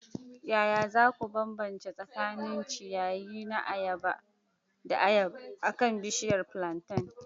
Yaya za ku bambanta tsakanin ciyayi da ayaba akan bishiyar plantain?